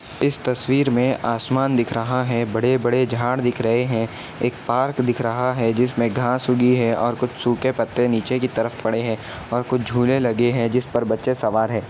इस तस्वीर में आसमान दिख रहा है। बड़े बड़े झाड़ दिख रहे हैं। एक पार्क दिख रहा है जिसमें घांस उगी है और कुछ सूखे पत्ते नीचे की तरफ पड़े हैं और कुछ झूले लगे हैं जिसपर बच्चे सवार हैं।